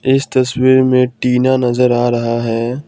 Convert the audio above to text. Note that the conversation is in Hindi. इस तस्वीर में टीना नजर आ रहा है ।